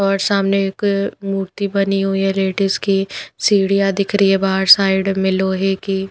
और सामने एक मूर्ति बनी हुई है लेडीज की सीढ़ियाँ दिख रही है बाहर साइड में लोहे की --